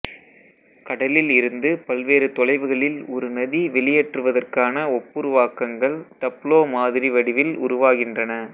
கடலில் இருந்து பல்வேறு தொலைவுகளில் ஒரு நதி வெளியேற்றுவதற்கான ஒப்புருவாக்கங்கள் டப்ளோ மாதிரி வடிவில் உருவாகின்றன